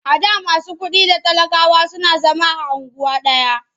A da masu kuɗi da talakawa suna zama a unguwa ɗaya.